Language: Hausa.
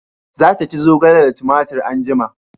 Za ta ci zogale da tumatir anjima